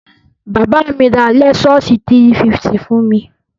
Bàbá mi ra lẹ́sọ́ọ̀sì 350 fún mi.